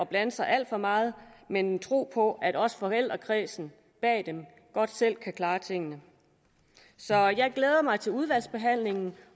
blande sig alt for meget men tro på at også forældrekredsene bag dem jo godt selv kan klare tingene så jeg glæder mig til udvalgsbehandlingen